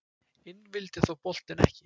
Inn vildi þó boltinn ekki